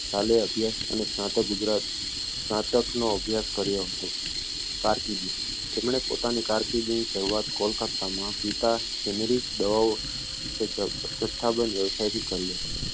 શાલેય અભ્યાસ અને સ્નાતક ગુજરાત સ્નાતકનો અભ્યાસ કર્યો હતો કારકિર્દી તેમણે પોતાની કારકીર્દીની શરૂઆત કોલકાતામાં પિતા generic દવાઓ જથ્થાબંધ વ્યવસાયથી કરી હતી